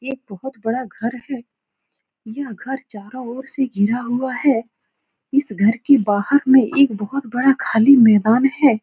ये एक बोहोत बड़ा घर है। यह घर चारों ओर से घिरा हुआ है। इस घर के बाहर में एक बोहोत बड़ा खाली मैदान है।